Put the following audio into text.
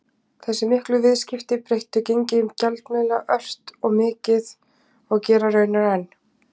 Þessi miklu viðskipti breyttu gengi gjaldmiðla ört og mikið og gera raunar enn.